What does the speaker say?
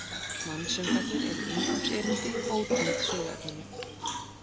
Mansöngvarnir eru inngangserindi, ótengd söguefninu.